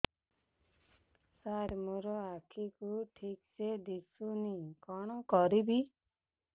ସାର ମୋର ଆଖି କୁ ଠିକସେ ଦିଶୁନି କଣ କରିବି